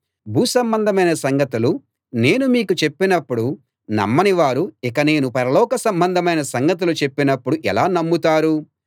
భూసంబంధమైన సంగతులు నేను మీకు చెప్పినప్పుడు నమ్మని వారు ఇక నేను పరలోక సంబంధమైన సంగతులు చెప్పినప్పుడు ఎలా నమ్ముతారు